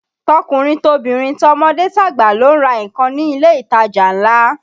Tọkùnrin tobìnrin, tọmọdé tàgbà ló ń ra nǹkan ní ilé ìtajà ńlá